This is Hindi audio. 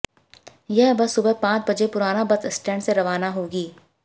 यह बस सुबह पांच बजे पुराना बस स्टैंड से रवाना होगी